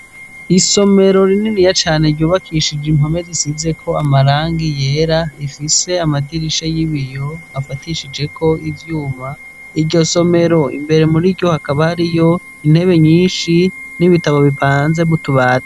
Isomero rininiya cane ryubakishije impome zisizeko amarangi yera rifise amadirisha y'ibiyo afadishijeko ivyuma , iryo somero imbere muriryo hakaba hariyo intebe nyishi n'ibitabo bipanze mutubati.